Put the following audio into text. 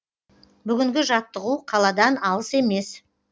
бүгінгі жаттығу қаладан алыс емес